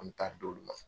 An bɛ taa di olu ma